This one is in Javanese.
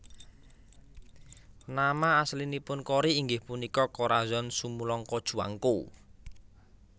Nama aslinipun Cory inggih punika Corazon Sumulong Cojuangco